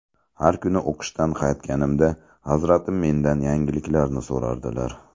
Har kuni o‘qishdan qaytganimda, Hazratim mendan yangiliklarni so‘rardilar.